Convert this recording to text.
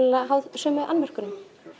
háð sömu annmörkum